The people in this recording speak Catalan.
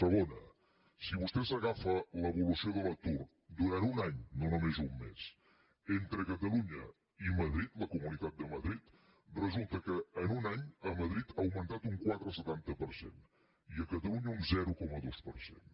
segona si vostè agafa l’evolució de l’atur durant un any no només un mes entre catalunya i madrid la comunitat de madrid resulta que en un any a madrid ha augmentat un quatre coma setanta per cent i a catalunya un zero coma dos per cent